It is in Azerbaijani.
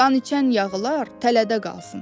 Qan içən yağılar tələdə qalsın.